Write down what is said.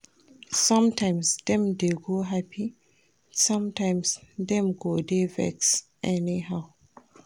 Sometimes, dem go dey hapi, sometimes dem go dey vex anyhow.